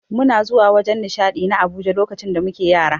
Muna zuwa wajen nishadi na Abuja lokacin da muke Yara.